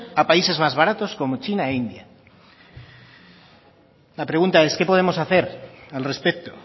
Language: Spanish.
a países más baratos como china e india la pregunta es qué podemos hacer al respecto